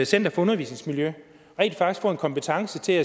center for undervisningsmiljø rent faktisk får en kompetence til